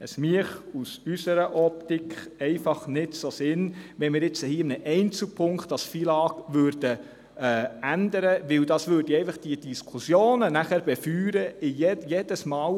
Es wäre aus unserer Optik einfach nicht so sinnvoll, das FILAG in einem Einzelpunkt zu ändern, weil dies die Diskussionen befeuern würde – jedes Mal: